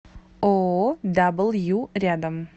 ооо дабл ю рядом